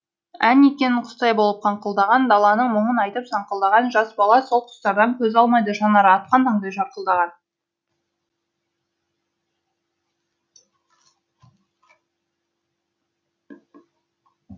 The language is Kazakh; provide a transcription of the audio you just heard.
ән екен құстай болып қаңқылдаған даланың мұңын айтып саңқылдаған жас бала сол құстардан көз алмайды жанары атқан таңдай жарқылдаған